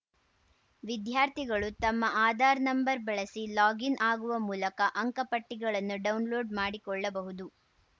ವಿದ್ಯಾರ್ಥಿಗಳು ತಮ್ಮ ಆಧಾರ್‌ ನಂಬರ್‌ ಬಳಸಿ ಲಾಗಿನ್‌ ಆಗುವ ಮೂಲಕ ಅಂಕಪಟ್ಟಿಗಳನ್ನು ಡೌನ್‌ಲೋಡ್‌ ಮಾಡಿಕೊಳ್ಳಬಹುದು